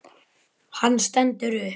Hann stendur upp.